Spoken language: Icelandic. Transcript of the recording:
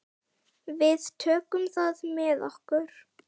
Við tökum það með okkur.